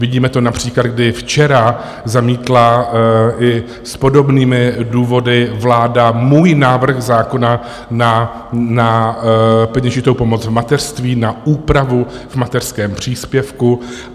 Vidíme to například, kdy včera zamítla i s podobnými důvody vláda můj návrh zákona na peněžitou pomoc v mateřství, na úpravu v mateřském příspěvku.